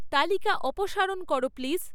তালিকা অপসারণ করো প্লিজ